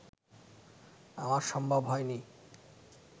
আমার সম্ভব হয়নি